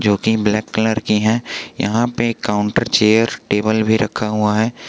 Black colour की है यहां पे काउंटर चेयर टेबल भी रखा हुआ है।